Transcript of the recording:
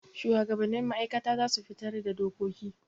Shuwagabannin ma'aikata za su fitar da dokoki.